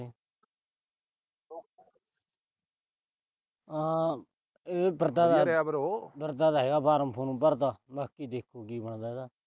ਹਾਂ। ਇਹ ਫਿਰਦਾ ਤਾਂ ਹੈਗਾ form ਫੂਰਮ ਭਰਦਾ। ਬਾਕੀ ਦੇਖੋ ਕੀ ਬਣਦਾ ਇਹਦਾ।